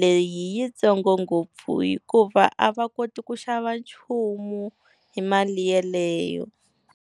leyi yitsongo ngopfu hikuva a va koti ku xava nchumu hi mali yeleyo.